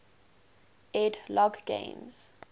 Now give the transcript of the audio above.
ed logg games